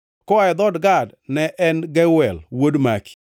koa e dhood Gad, ne en Geuel wuod Maki.